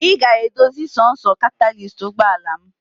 Ị ga-edozi sọọsọ katalist ụgbọala m!.